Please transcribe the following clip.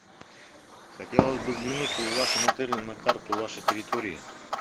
хотелось бы взглянуть в вашем отеле на карту вашей территории